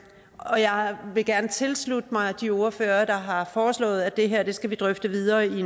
og jeg vil gerne tilslutte mig de ordførere der har foreslået at det her skal vi drøfte videre i